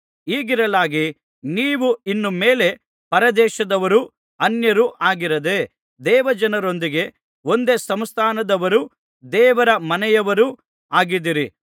ಹೀಗಿರಲಾಗಿ ನೀವು ಇನ್ನು ಮೇಲೆ ಪರದೇಶದವರೂ ಅನ್ಯರೂ ಆಗಿರದೇ ದೇವಜನರೊಂದಿಗೆ ಒಂದೇ ಸಂಸ್ಥಾನದವರೂ ದೇವರ ಮನೆಯವರೂ ಆಗಿದ್ದೀರಿ